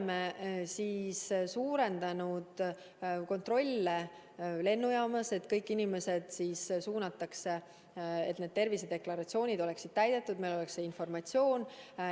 Me oleme suurendanud kontrolle lennujaamas, et need tervisedeklaratsioonid oleksid täidetud, et meil oleks see informatsioon.